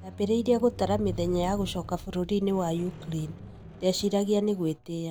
Ndabĩrĩirie gũtara mĩthenya ya gũcoka bũrũriinĩ wa Ukraine, ndeciraigia nigwitia